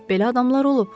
Belə adamlar olub.